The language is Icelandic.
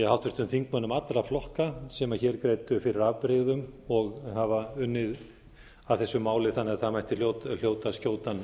háttvirtum þingmönnum allra flokka sem hér greiddu fyrir afbrigðum og hafa unnið að þessu máli þannig að það mætti hljóta skjótan